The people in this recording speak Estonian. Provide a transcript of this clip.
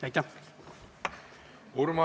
Aitäh!